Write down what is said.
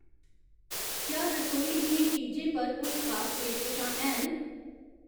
क्या रसोई दियें चीजें पर कोई पेशकशां हैन ?